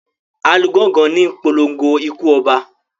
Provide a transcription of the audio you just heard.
Alugongo níi polongo ikú oba.